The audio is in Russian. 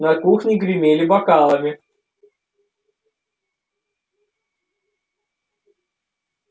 на кухне гремели бокалами